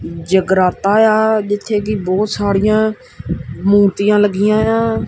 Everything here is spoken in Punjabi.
ਜਗਰਾਤਾ ਏ ਆ ਜਿੱਥੇ ਕਿ ਬਹੁਤ ਸਾਰੀਆਂ ਮੂਰਤੀਆਂ ਲੱਗੀਆਂ ਏ ਆ।